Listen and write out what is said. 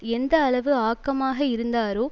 எந்த அளவு ஆக்கமாக இருந்தாரோ